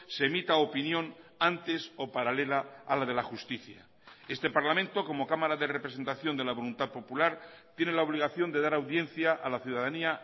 se emita opinión antes o paralela a la de la justicia este parlamento como cámara de representación de la voluntad popular tiene la obligación de dar audiencia a la ciudadanía